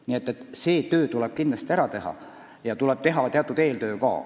Nii et see töö tuleb kindlasti ära teha.